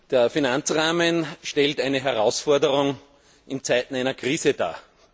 Der Finanzrahmen stellt eine Herausforderung in Zeiten einer Krise dar.